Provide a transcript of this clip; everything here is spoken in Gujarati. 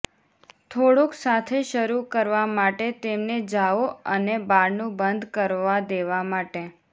થોડુંક સાથે શરૂ કરવા માટે તેમને જાઓ અને બારણું બંધ કરવા દેવા માટે